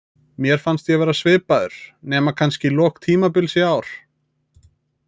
Mér fannst ég vera svipaður, nema kannski í lok tímabils í ár.